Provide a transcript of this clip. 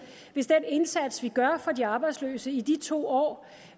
hvis den indsats vi gør for de arbejdsløse i de to år